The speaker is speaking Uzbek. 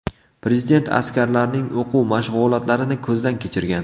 Prezident askarlarning o‘quv-mashg‘ulotlarini ko‘zdan kechirgan.